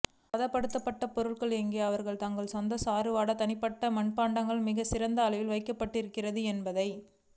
பதப்படுத்தப்பட்ட பொருட்கள் எங்கே அவர்கள் தங்கள் சொந்த சாறு வாட தனிப்பட்ட மண்பாண்டம் மிகச் சிறிய அளவில் வைக்கப்படுகின்றன என்பதை